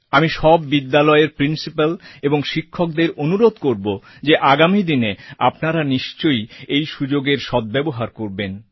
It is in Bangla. আমি সব বিদ্যালয়ের প্রিন্সিপাল ও শিক্ষকদের অনুরোধ করবো যে আগামীদিনে আপনারা নিশ্চয় এই সুযোগের সদ্ব্যবহার করবেন